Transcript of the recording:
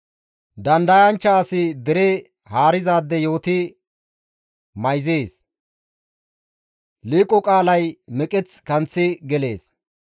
Dandayanchcha asi dere haarizaade yooti mayzees; liiqo qaalay meqeth kanththi gelees.